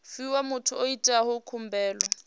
fhiwa muthu o itaho khumbelo